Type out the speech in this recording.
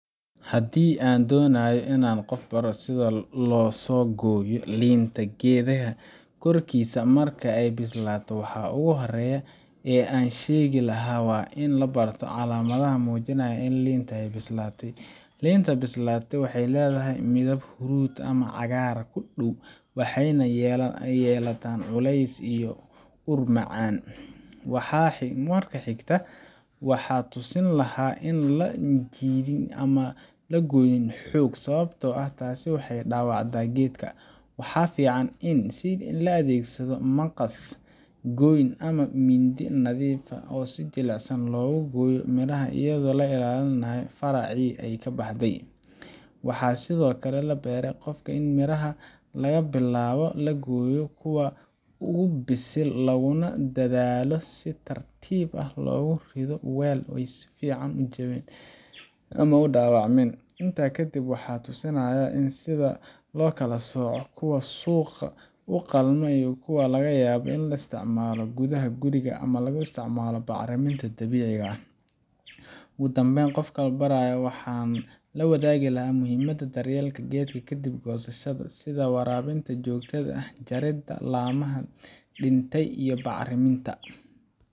Haddii aan doonayo in aan qof baro sida loosoo gooyo liinta geedkeeda korkiisa marka ay bislaato, waxa ugu horreeya ee aan sheegi lahaa waa in la barto calaamadaha muujinaya in liinta ay bislaatay. Liinta bislaatay waxay leedahay midab huruud ah ama cagaar ku dhaw, waxayna yeelataa culays iyo ur macaan. Marka xigta, waxaan tusin lahaa in aan la jiidin ama la goynin xoog – sababtoo ah taasi waxay dhaawacdaa geedka. Waxaa fiican in la adeegsado maqas goyn ah ama mindi nadiif ah, si jilicsan loogu gooyo miraha iyadoo la ilaalinayo faracii ay ka baxday. Waxaan sidoo kale barayaa qofka in miraha laga bilaabo la gooyo kuwa ugu bisil, laguna dadaalo in si tartiib ah loogu rido weel si aysan u jabin ama u dhaawacmin. Intaa kadib, waxaan tusayaa sida loo kala sooco kuwa suuq u qalma iyo kuwa laga yaabo in la isticmaalo gudaha guriga ama loo isticmaalo bacriminta dabiiciga ah. Ugu dambeyn, qofka aan barayo waxaan la wadaagayaa muhiimada daryeelka geedka kadib goosashada – sida waraabinta joogtada ah, jaridda laamaha dhintay, iyo bacriminta,